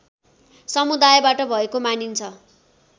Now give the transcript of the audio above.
समुदायबाट भएको मानिन्छ